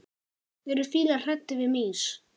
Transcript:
Eru fílar hræddir við mýs?